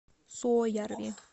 суоярви